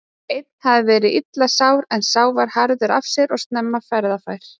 Einn hafði verið illa sár en sá var harður af sér og snemma ferðafær.